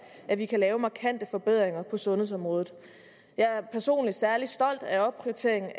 at vi kan lave markante forbedringer på sundhedsområdet jeg er personligt særlig stolt af opprioriteringen